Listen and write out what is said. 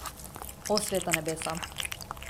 O, sveta nebesa!